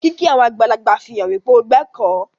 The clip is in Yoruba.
Kìkì àwọn àgbàlagbà fihàn wípe o gbẹ̀kọ́.